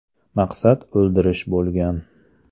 Maqsad o‘ldirish bo‘lgan.